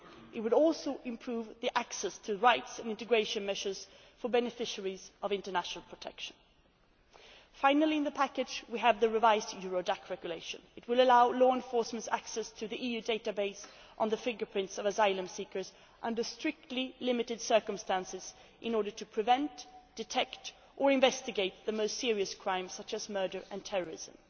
It will also improve access to rights and integration measures for beneficiaries of international protection. Finally, in the package we have the revised Eurodac Regulation. This will allow law enforcement access to the EU database of the fingerprints of asylum seekers, under strictly limited circumstances, in order to prevent, detect or investigate the most serious crimes, such as murder and terrorism.